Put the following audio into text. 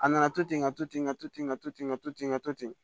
A nana to ten ka to ten ka to ten ka to ten n ka to ten ka to ten